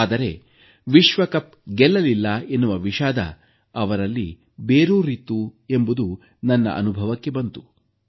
ಆದರೆ ವಿಶ್ವಕಪ್ ಗೆಲ್ಲಲಿಲ್ಲ ಎನ್ನುವ ವಿಷಾದ ಅವರಲ್ಲಿ ಬೇರೂರಿತ್ತು ಎಂಬುದು ನನ್ನ ಅನುಭವಕ್ಕೆ ಬಂತು